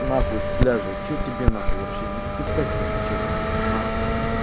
нахуй с пляжа что тебе нахуй вообще не писать не отвечать не буду нахуй